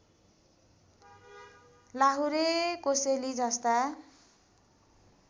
लाहुरे कोसेली जस्ता